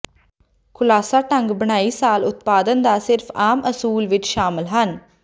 ਖੁਲਾਸਾ ਢੰਗ ਬੁਣਾਈ ਸ਼ਾਲ ਉਤਪਾਦਨ ਦਾ ਸਿਰਫ ਆਮ ਅਸੂਲ ਵਿੱਚ ਸ਼ਾਮਲ ਹਨ